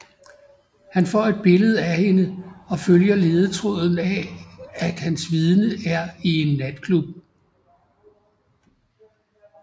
Han får et billede af hende og følger ledetråden af at hans vidne er i en natklub